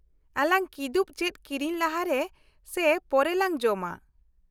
- ᱟᱞᱟᱝ ᱠᱤᱫᱩᱵ ᱪᱮᱫ ᱠᱤᱨᱤᱧ ᱞᱟᱦᱟᱨᱮ ᱥᱮ ᱯᱚᱨᱮ ᱞᱟᱝ ᱡᱚᱢᱟ ᱾